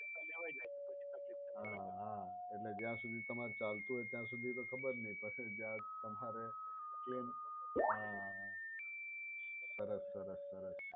લેવાય જાય તો પછી તકલીફ પડે. હા હા એટલે ત્યાં સુધી તમારે ચાલતું હોય ત્યાં સુધી તો ખબર નહીં પછી જાત તમારે એનું આ સરસ સરસ સરસ